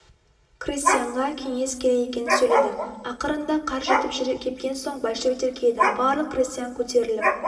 крестьянға кеңес керек екенін сөйледі ақырында қар кетіп жер кепкен соң большевиктер келеді барлық крестьян көтеріліп